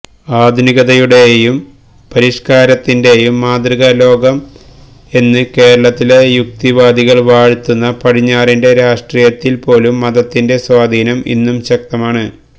ആധുനികതയുടെയും പരിഷ്കാരത്തിന്റെയും മാതൃകാ ലോകം എന്ന് കേരളത്തിലെ യുക്തിവാദികള് വാഴ്ത്തുന്ന പടിഞ്ഞാറിന്റെ രാഷ്ട്രീയത്തില് പോലും മതത്തിന്റെ സ്വാധീനം ഇന്നും ശക്തമാണ്